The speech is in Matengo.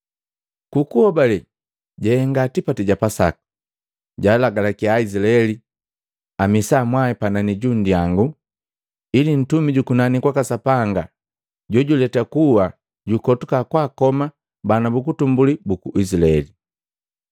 Ku kuhobale jahenga tipati ja Pasaka, jalagalakia Aizilael amisa mwai panani ju nndyangu, ili Ntumi jukunani kwaka Sapanga Jojuleta kuwa jukotuka kwaakoma bana bu utumbuli buku Izilaeli.